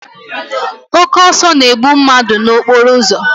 Oke ọsọ na-egbu mmadụ n'okporo ụzọ.